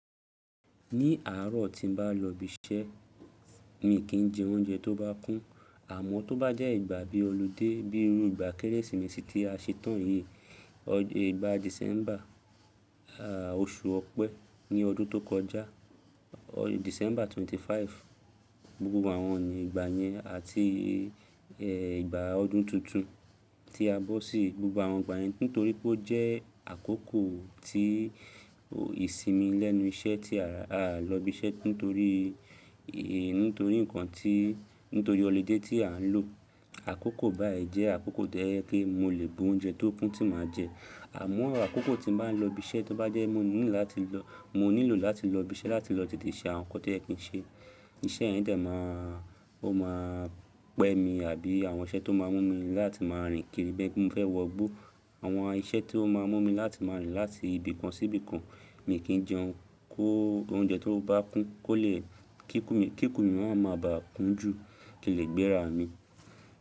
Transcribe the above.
Ní àárọ̀ tí n bá lọ ibi iṣẹ́, mi kì í jẹ oúnjẹ tó bá kún. Àmọ́ tó bá jẹ́ ìgbà bí oludé bíi irú ìgbà Kérésìmesì tí a ṣetán yìí, ìgbà December, oṣù Ọ̀pẹ́ ní ọdún tó kọjá, December 25, gbogbo àwọn ìgbà yẹn àti ìgbà ọdún tuntun tí a bọ́ sí, gbogbo àwọn ìgbà yẹn nítorí pé ó jẹ́ àkókò tí ìsinmi lẹ́nu iṣẹ́ tí a lọ ibi iṣẹ́ nítorí, nítorí nǹkan tí, nítorí oludé tí à ń lò. Àkókò báyìí jẹ́ àkókò tó jẹ pé mo lè bu oúnjẹ tó kún tí màá jẹ. Àmọ́ àkókò tí n bá ń lọ ibi iṣẹ́ tó bá jẹ́ mo nílò láti lọ, mo nílò láti lọ ibi iṣẹ́ láti lọ tètè ṣe àwọn nǹkan tí o yẹ́ kín ṣe, iṣẹ́ yẹn dà máa, ó máa pẹ́ mi àbí àwọn iṣẹ́ tó máa mú mi láti máa rìn kiri bẹ́ni pe mo fẹ́ wọ gbó. Àwọn iṣẹ́ tó máa mú mi láti máa rìn láti ibìkan sí ibìkan, mi kì í jẹun kó oúnjẹ tó bá kún kó lè kíkun mi, kíkun mi náà ma ba à kún jù kílegbéra mi.